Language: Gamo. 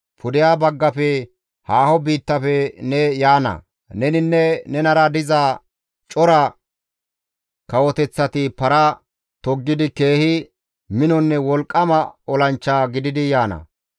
Pudeha baggafe haaho biittafe ne yaana; neninne nenara diza cora kawoteththati para toggidi keehi minonne wolqqama olanchcha gididi yaana.